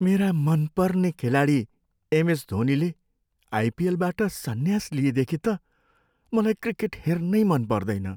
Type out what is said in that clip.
मेरा मनपर्ने खेलाडी एमएस धोनीले आइपिएलबाट सन्यास लिएदेखि त मलाई क्रिकेट हेर्नै मन पर्दैन।